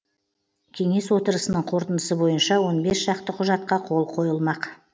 кеңес отырысының қорытындысы бойынша он бес шақты құжатқа қол қойылмақ